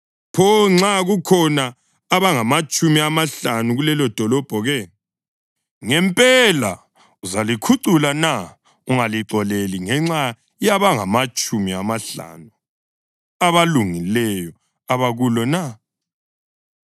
Pho nxa kukhona abangamatshumi amahlanu kulelodolobho ke? Ngempela uzalikhucula na ungalixoleli ngenxa yabangamatshumi amahlanu abalungileyo abakulo na?